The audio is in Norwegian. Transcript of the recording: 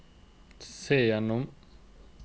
se gjennom